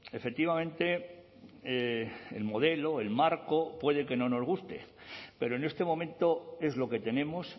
efectivamente el modelo el marco puede que no nos guste pero en este momento es lo que tenemos